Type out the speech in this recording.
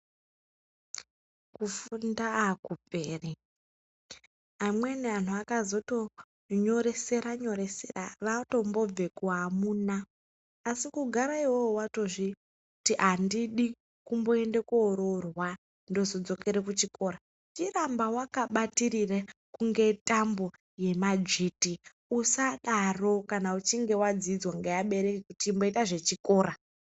Kufunda akuperi amweni anhu akazoto nyoreseranyoresra vatombobve kuamuna asi kugara iwewe watozviti andidi kumboende koororwa ndozodzokere kuchikora chiramba wakabatitirire kunge tambo yemadzviti usadaro kana uchinge wadziiswe ngeabereki kuti chimboita zvechikora.